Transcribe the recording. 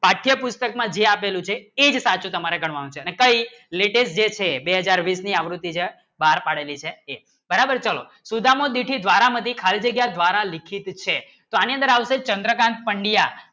પાઠ્યપુસ્તકમાં જે આપેલું છે તે તમે આપેલું છે અને કઈ લેટેસ્ટ જે છે બે હાજર બીસ ની આવૃત્તિ છે બહાર પાડેલી છે તે બરાબર ચલો સુદામા બારમી ખલડી દ્વારા લિખીત છે આનંદરાવ છે ચંદ્રકાન્ત પડ્યાં